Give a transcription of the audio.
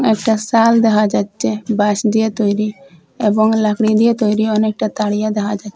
একটা সাল দেখা যাচ্ছে বাঁশ দিয়ে তৈরি এবং লাকরি দিয়ে তৈরি অনেকটা তারিয়া দেখা যা--